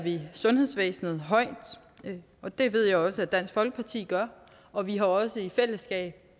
vi sundhedsvæsenet højt og det ved jeg også dansk folkeparti gør og vi har også i fællesskab